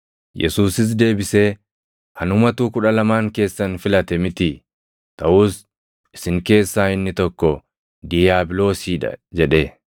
Yesuusis deebisee, “Anumatu Kudha Lamaan keessan filate mitii? Taʼus isin keessaa inni tokko diiyaabiloosii dha!” jedhe.